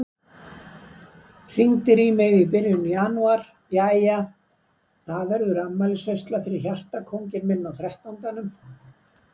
Hringdir í mig í byrjun janúar: Jæja, verður afmælisveisla fyrir hjartakónginn minn á þrettándanum?